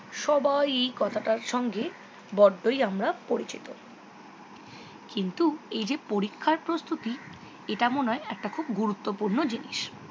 সবাই এই কথাটার সঙ্গে বদ্দই আমরা পরিচিত। কিন্তু এই যে পরীক্ষার প্রস্তুতি এটা মনে হয় একটা গুরুত্বপূর্ণ জিনিস।